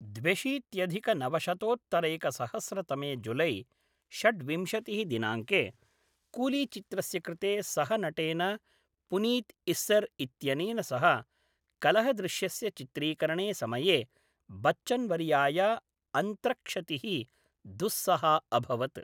द्व्यशीत्यधिकनवशतोत्तरैकसहस्रतमे जुलै षड्विंशतिः दिनाङ्के, कूलीचित्रस्य कृते सह नटेन पुनीत् इस्सर् इत्यनेन सह कलहदृश्यस्य चित्रीकरणे समये बच्चन्वर्याय अन्त्रक्षतिः दुस्सहा अभवत्।